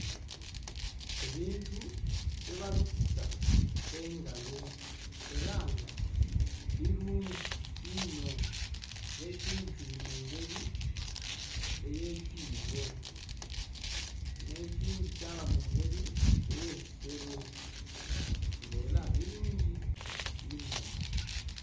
Ebintu bye balukisa engalo era nga birungi inho nga ekindhi kiri mungeri ey'ekibo n'ekindhi kyaba mungeri ey'ekisero nga era birungi inho.